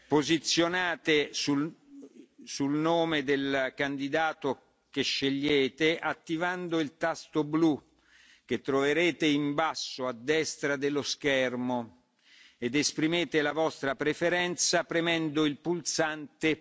Posizionatevi sul nome del candidato di vostra scelta attivando i tasti blu che si trovano in basso a destra dello schermo ed esprimete la vostra preferenza premendo il pulsante